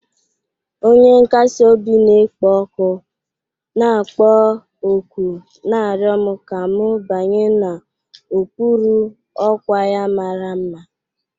Onye nkasi obi na-ekpo ọkụ, na-akpọ òkù na-arịọ m ka m banye n'okpuru ọkwa ya mara mma.